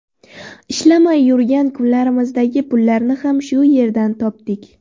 Ishlamay yurgan kunlarimizdagi pullarni ham shu yerdan topdik.